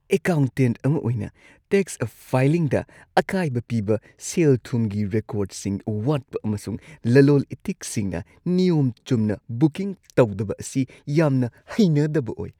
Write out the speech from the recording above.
Accountant ꯑꯃ ꯑꯣꯏꯅ, tax ꯐꯥꯏꯂꯤꯡꯗ ꯑꯀꯥꯏꯕ ꯄꯤꯕ ꯁꯦꯜ-ꯊꯨꯝꯒꯤ ꯔꯦꯀꯣꯔꯗꯁꯤꯡ ꯋꯥꯠꯄ ꯑꯃꯁꯨꯡ ꯂꯂꯣꯜ-ꯏꯇꯤꯛꯁꯤꯡꯅ ꯅꯤꯌꯣꯝ ꯆꯨꯝꯅ ꯕꯨꯀꯤꯡ ꯇꯧꯗꯕ ꯑꯁꯤ ꯌꯥꯝꯅ ꯍꯩꯅꯗꯕ ꯑꯣꯏ꯫